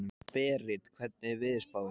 Berit, hvernig er veðurspáin?